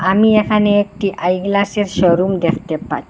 আমি এখানে একটি আই গ্লাসের শোরুম দেখতে পা--